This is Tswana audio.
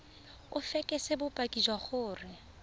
o fekese bopaki jwa gore